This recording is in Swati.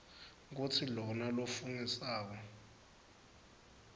kutsi lona lofungisako